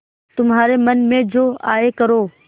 तुम्हारे मन में जो आये करो